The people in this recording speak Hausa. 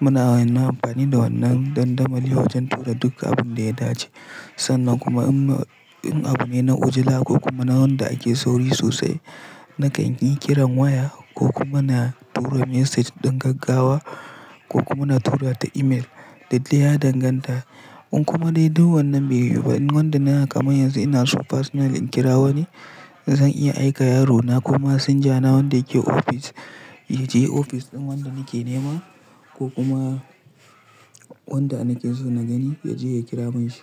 Muna amfani da wannan dandamali wajen tura duk abin da ya dace sannan kuma in abu ne na ujila ko kuma na wanda ake sauri sosai, nakan yi kiran waya ko kuma na tura message ɗin gaggawa ko kuma na tura ta email. Dukdai ya danganta. In kuma dai duk wannan bai yiwu ba, in wanda na kamai yanzu ina son personal in kira wani, zan iya aika yarona ko masinja na wanda yake ofis ya je ofis ɗin wanda nake nema ko kuma wanda nake so na gani ya je ya kira mishi.